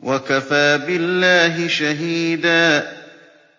وَكَفَىٰ بِاللَّهِ شَهِيدًا